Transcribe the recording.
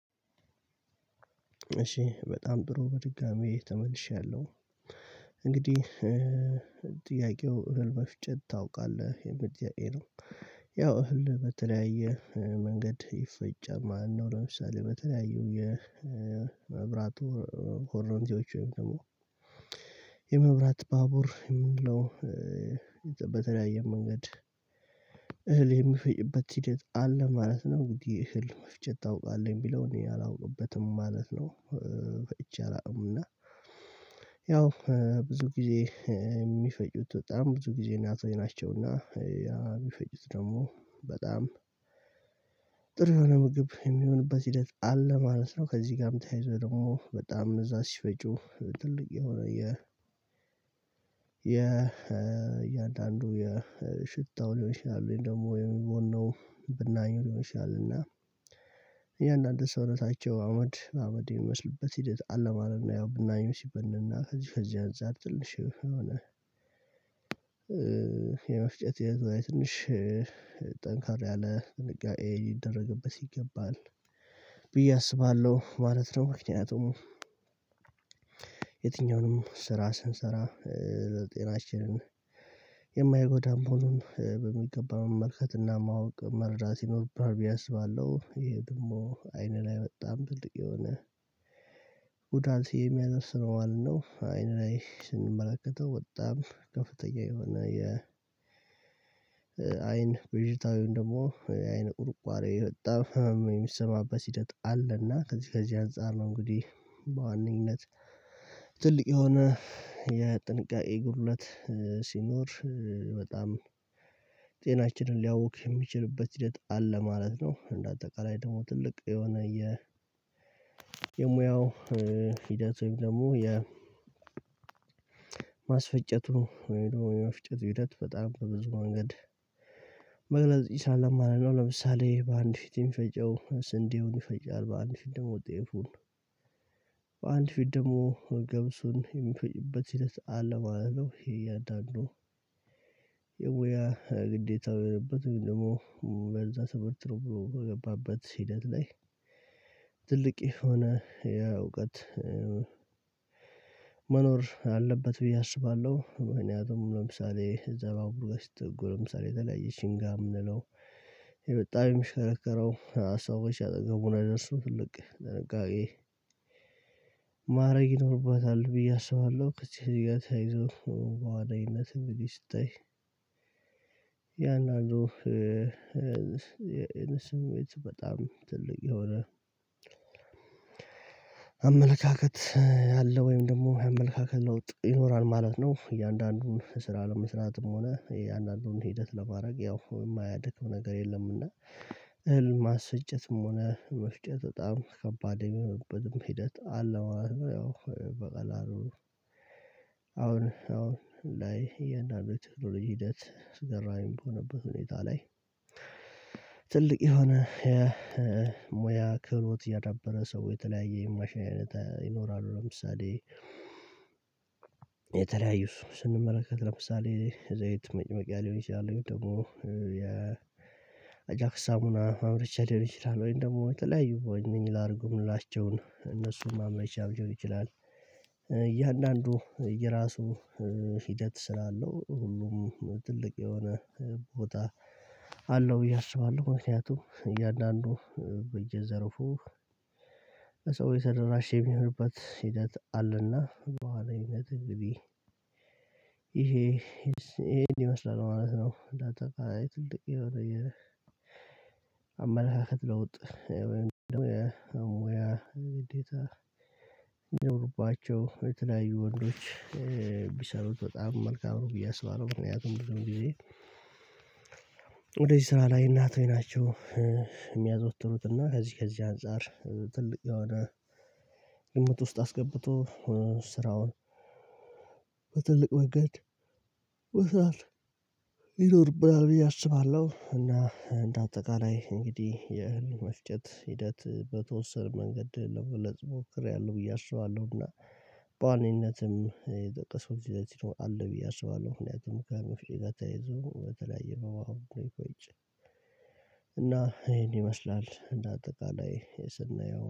እሺ በጣም ብሩ በድጋሚ ተመልሻለሁ። እንግዲህ ጥያቄው እህል መፍጨት ታውቃለህ የሚል ጥያቄ ነው? ያው እህል በተለያየ መንገድ ይፈጫል ማለት ነው። ለምሳሌ በተለያዩ የመብራቶ ኮረንቲዎች ወይም ደግሞ የመብራት ባቡር የምንለው በተለያየ መንገድ እህል የሚፈጭበት ሂደት አለ ማለት ነው። እንግዲህ እህል መፍጨት ታውቃለህ የሚለውን እኔ አላውቅበትም ማለት ነው። በፈጭቼ አላውቅም እና ያው ብዙ ጊዜ የሚፈጩት በጣም ብዙ ጊዜ እናቶች ናቸውና። ሚፈጩት ደግሞ በጣም ጥሩ የሆነ ምግብ የሚሆንበት ሂደት አለ ማለት ነው። ከዚህ ጋር የምታይዘው ደግሞ በጣም እዛ ሲፈጩ ትልቅ የሆነ የ የ እያንዳንዱ የ ሽታው ሊሆን ይችላል ደግሞ የሚቦነው ብናኝ ሊሆን ይችላል እና ያን አዲስ እውነታቸው አመድ አመድ የሚመስልበት ሂደት አለ ማለትነው። ያው ብናኙ ሲበንና ከዚህ ከዚህ አንፃር ትንሽ የሆነ የመፍጨት የዛሬ ትንሽ ጠንካራ ያለ ጥንቃኤ ሊደረግበት ይገባል ብዬ አስባለሁ ማለት ነው። ምክንያቱም የትኛውንም ስራ ስንሰራ ለጤናችን የማይጎዳም መሆኖን በሚገባ መመልከት እና ማወቅ መርዳት ይኖርብሃል ብዬ አስባለሁ ይሄ ደግሞ አይን ላይ መጣም ትልቅ የሆነ ጉዳት የሚያደርስ ነው ማለት ነው። አይን ላይ ስንመለከተው በጣም ከፍተኛ የሆነ የ አይን ብዥታ ወይን ደግሞ የአይን ቁርቋሬ በጣም የሚሰማበት ሂደት አለና ከዚህ ከዚህ አንፃር ነው። እንግዲህ በዋነኝነት ትልቅ የሆነ የጥንቃቄ ጉድለት ሲኖር በጣም ጤናችንን ሊያውክ የሚችልበት ሂደት አለ ማለት ነው። እንደ አጠቃላይ ደግሞ ትልቅ የሆነ የሙያው ሂደት ወይም ደግሞ የማስፈጨቱ ወይም የመፍጨቱ ሂደት በጣም በብዙ መንገድ መግለጽ ይቻላል ማለት ነው። ለምሳሌ በአንድ ፊት የሚፈጨው ስንዴውን ይፈጫል በአንድ ፊት ደግሞ ጤፉን በአንድ ፊት ደግሞ ገብሱን የሚፈጭበት ሂደት አለው ማለት ነው። ይሄ እያንዳንዱ የሙያ ግዴታው የሆነበት ደግሞ በዛ ተቦርብሮ በገባበት ሂደት ላይ ትልቅ የሆነ ያ እውቀት መኖር አለበት ብዬ አስባለሁ። ምክንያቱም ለምሳሌ ባቡር ገሽት ጎል ለምሳሌ የተለያየችኝ ጋር የምንለው የበጣም የሚሸረረው ሀሳቦች አጠገቡን አደርሱን ትልቅ ለንጋዴ ማድረግ ይኖርበታል ብዬ አስባለሁ። እቺ እያተይዞ በዋዳይነት ብዬ ስታይ ያን አንዱ ስሜት በጣም ትልቅ የሆነ አመለካከት ያለው ወይም ደግሞ አመለካከት ለውጥ ይኖራል ማለት ነው። እያንዳንዱን ስራ ለመስራትም ሆነ የእያንዳንዱን ሂደት ለማድረግ ያው የማያደክም ነገር የለምና እህል ማስጨትም ሆነ መስጨት በጣም ከባድ የሚሆንበትም ሂደት አለው። ያው በቀላሉ አሁን አሁን ላይ እያንዳንዱ ቴክኖሎጂ ሂደት አስገራሚ በሆነበት ሁኔታ ላይ ትልቅ የሆነ ሙያ ክህሎት ያዳበረ ሰው የተለያየ የማሽን አይነት ይኖራሉ። ለምሳሌ የተለያየው ስንመለከት ለምሳሌ ዘይት መጨመቂያ ሊሆን ይችላል ደግሞ የ አጃክስ ሳሙና ማምርቻ ሊሆን ይችላል ወይም ደግሞ ተለያዩ ምኒላርጎ ምላቸውን እነሱን ማምረቻ ሊሆን ይችላል እያንዳንዱ የራሱ ሂደት ስላለው ሁሉም ትልቅ የሆነ ቦታ አለው ብዬ አስባለሁ። ምክንያቱም እያንዳንዱ በየዘርፉ ሰው የተደራሸ የሚሆንበት ሂደት አለና በኋላ ሂደት ግቢ ይሄ ይሄ ይመስላል ማለት ነው። እንዳጠቃይ ትልቅ የሆነ የአመለካከት ለውጥ የሚኖሩባቸው የተለያዩ ወንዶች ቢሰሩት በጣም መልካም ነው ብዬ አስባለሁ። እና ያው ወደዚህ ስራ ላይ እናቶች ናቸው የሚያዘወትሩት እና ከዚህ ከዚህ አንፃር ትልቅ የሆነ ግምት ውስጥ አስገብቶ ስራውን በትልቅ ወገድ መስራት ይኖርብናል ብዬ አስባለሁ። እና እንደ አጠቃላይ እንግዲህ የእህል መፍጨት ሂደት በተወሰነ መንገድ ለመግለጽ ሞክሬያለሁ ብዬ አስባለሁና በዋኔነትም የጠቀስኩት ሲለዚ አለ ብዬ አስባለሁ ምክንያቱም ከመፍጨት ጋር ተይዞ በተለያየ በዋኔ እና ይሄን ይመስላል እና አጠቃላይ የስናየው